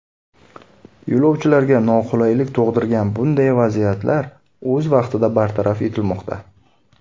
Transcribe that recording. Yo‘lovchilarga noqulaylik tug‘dirgan bunday vaziyatlar o‘z vaqtida bartaraf etilmoqda.